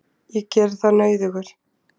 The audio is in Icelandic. Ég geri það nauðugur.